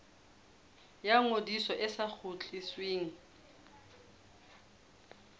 ya ngodiso e sa kgutlisweng